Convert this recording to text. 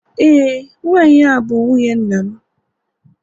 e, nwanyi ahu bu nwunye nnamMba, anụbeghị m n'ọnụ nna anyị